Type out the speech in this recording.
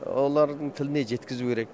олардың тіліне жеткізу керек